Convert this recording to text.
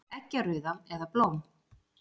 Eggjarauða, eða blóm.